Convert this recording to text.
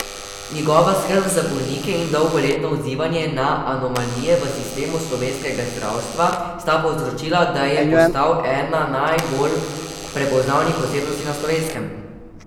Njegova skrb za bolnike in dolgoletno odzivanje na anomalije v sistemu slovenskega zdravstva sta povzročila, da je postal ena bolj prepoznavnih osebnosti na Slovenskem.